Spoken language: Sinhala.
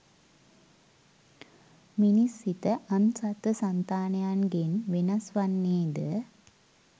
මිනිස් සිත අන් සත්ව සන්තානයන්ගෙන් වෙනස් වන්නේ ද